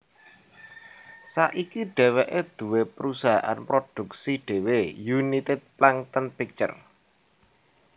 Saiki dheweke duwé prusahaan produksi dhewe United Plankton Pictures